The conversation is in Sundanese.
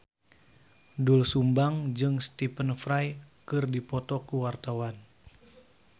Doel Sumbang jeung Stephen Fry keur dipoto ku wartawan